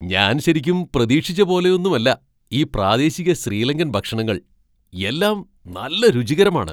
ഞാൻ ശരിക്കും പ്രതീക്ഷിച്ച പോലെയൊന്നുമല്ല ഈ പ്രാദേശിക ശ്രീലങ്കൻ ഭക്ഷണങ്ങൾ, എല്ലാം നല്ല രുചികരമാണ്.